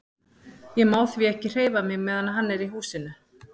Ég má því ekki hreyfa mig á meðan hann er í húsinu.